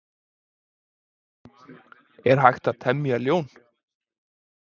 er hægt að temja ljón